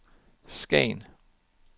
Skagen